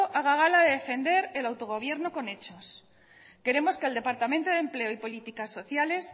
haga gala de defender el autogobierno con hechos queremos que el departamento de empleo y políticas sociales